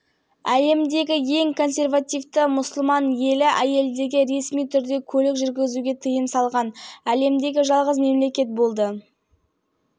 әйелдерге арналған соңғы реформалар жылы әлемдік мұнай бағасының күрт құлдырауы кезінде ханзада мохаммед бен салманның ұсынған